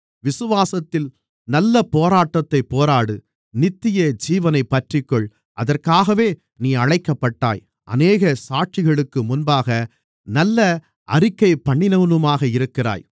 விசுவாசத்தின் நல்ல போராட்டத்தைப் போராடு நித்தியஜீவனைப் பற்றிக்கொள் அதற்காகவே நீ அழைக்கப்பட்டாய் அநேக சாட்சிகளுக்கு முன்பாக நல்ல அறிக்கைபண்ணினவனுமாக இருக்கிறாய்